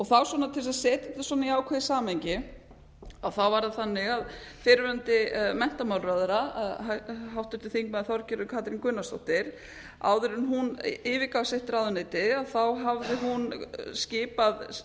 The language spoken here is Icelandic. þá svona til þess að setja þetta í ákveðið samhengi var það þannig að fyrrverandi menntamálaráðherra háttvirtur þingmaður þorgerður katrín gunnarsdóttir áður en hún yfirgaf sitt ráðuneyti hafði hún skipað